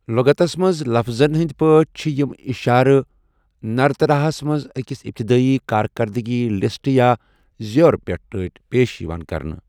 لغتَس منٛز لفظَن ہِندۍ پٲٹھۍ چھِ یِم اِشارٕ نرتراہَس منٛز أکِس ابتدٲیِی کارکردٕگی لسٹہٕ یا زیور پٲٹھۍ پیش یِوان کرنہٕ۔